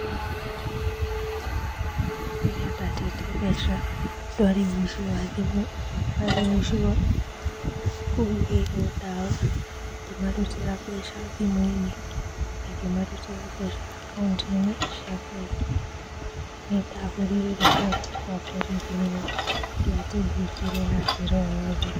Rĩrĩa ndatete mbeca, ndwarĩ uici wa thimũ, warĩ uici wa kũhuhĩrĩrwo ndawa. Ngĩmarutĩra mbeca thimũ-inĩ, na ngĩmarutĩra mbeca akaũnti-inĩ cia bengi. Nĩndahũrire riboti gwa borithi no ndiateithĩkire na njĩra o yothe.